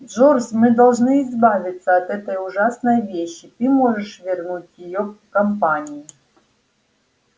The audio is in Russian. джордж мы должны избавиться от этой ужасной вещи ты можешь вернуть её компании